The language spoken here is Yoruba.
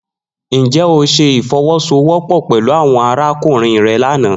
Njẹ o ṣe ifowosowopo pẹlu awọn arakunrin rẹ lana?